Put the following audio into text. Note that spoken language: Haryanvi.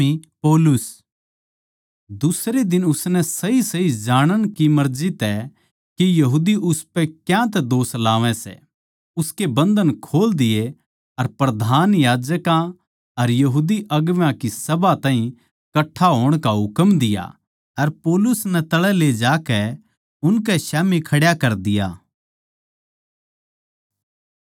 दुसरे दिन उसनै सहीसही जाणण की मर्जी तै के यहूदी उसपै क्यांतै दोष लावै सै उसके बन्धन खोल दिए अर प्रधान याजकां अर सारी बड्डी सभा ताहीं कट्ठा होण का हुकम दिया अर पौलुस नै तळै ले जाकै उनकै स्याम्ही खड्या कर दिया